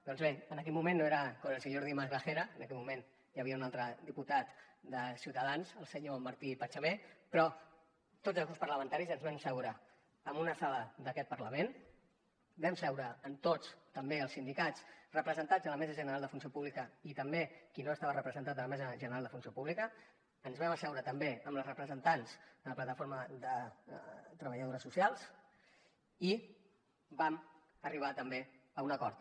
doncs bé en aquell moment no era con el señor dimas gragera en aquell moment hi havia un altre diputat de ciutadans el senyor martí pachamé però tots els grups parlamentaris ens vam asseure en una sala d’aquest parlament vam seure amb tots també els sindicats representats a la mesa general de la funció pública i també qui no estava representat a la mesa general de la funció pública ens vam asseure també amb les representants de la plataforma de treballadores socials i vam arribar també a un acord